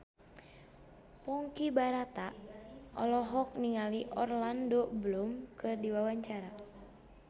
Ponky Brata olohok ningali Orlando Bloom keur diwawancara